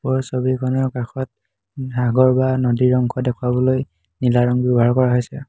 ওপৰৰ ছবিখনৰ কাষত সাগৰ বা নদীৰ অংশ দেখুৱাবলৈ নীলা ৰঙ ব্যাৱহাৰ কৰা হৈছে।